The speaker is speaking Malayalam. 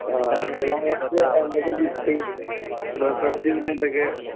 തൊഴിൽ മേഖലയെ പറ്റി എന്തൊക്കെ കിട്ടി? റിസേർച്ചീന്ന് എന്തൊക്കെ